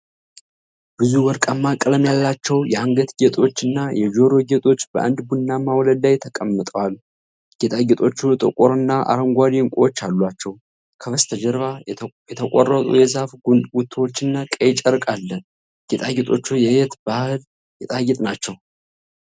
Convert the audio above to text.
ብዙ ወርቃማ ቀለም ያላቸው የአንገት ጌጦች እና የጆሮ ጌጦች በአንድ ቡናማ ወለል ላይ ተቀምጠዋል። ጌጣጌጦቹ ጥቁር እና አረንጓዴ ዕንቁዎች አሏቸው። ከበስተጀርባ የተቆረጡ የዛፍ ጉቶዎችና ቀይ ጨርቅ አለ። ጌጣጌጦቹ የየት ባህል ጌጣጌጥ ናቸው?